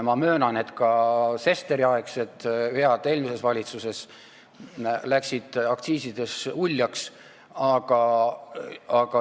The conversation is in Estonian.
Ma möönan, et ka Sesteri-aegsed vead eelmises valitsuses läksid aktsiiside valdkonnas uljaks.